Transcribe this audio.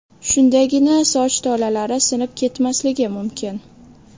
Shundagina soch tolalari sinib ketmasligi mumkin.